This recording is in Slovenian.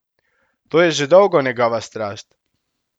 To je že dolgo njegova strast.